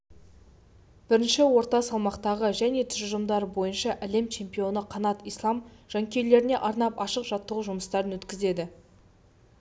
бірінші орта салмақтағы және тұжырымдары бойынша әлем чемпионы қанат ислам жанкүйерлеріне арнап ашық жаттығу жұмыстарын өткізеді